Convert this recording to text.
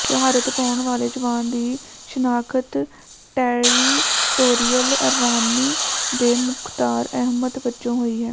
ਸ਼ਹਾਦਤ ਪਾਉਣ ਵਾਲੇ ਜਵਾਨ ਦੀ ਸ਼ਨਾਖ਼ਤ ਟੈਰੀਟੋਰੀਅਲ ਆਰਮੀ ਦੇ ਮੁਖ਼ਤਾਰ ਅਹਿਮਦ ਵਜੋਂ ਹੋਈ ਹੈ